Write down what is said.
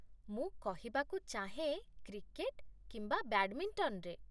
ମୁଁ କହିବାକୁ ଚାହେଁ, କ୍ରିକେଟ୍, କିମ୍ବା ବ୍ୟାଡମିଣ୍ଟନରେ।